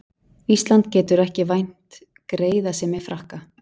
Ísland getur ekki vænt greiðasemi Frakka